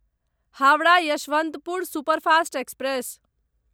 Howrah Yesvantpur superfast express